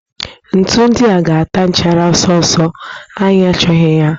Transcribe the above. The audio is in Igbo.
Ntu ndia ga-ata nchara ọsọ ọsọ, anyị achọghị ha